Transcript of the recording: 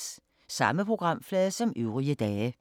Samme programflade som øvrige dage